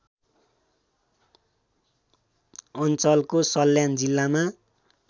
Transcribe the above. अञ्चलको सल्यान जिल्लामा